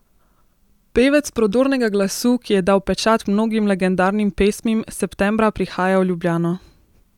Pevec prodornega glasu, ki je dal pečat mnogim legendarnim pesmim, septembra prihaja v Ljubljano!